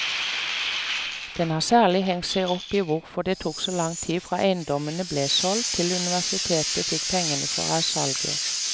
Den har særlig hengt seg opp i hvorfor det tok så lang tid fra eiendommene ble solgt til universitetet fikk pengene fra salget.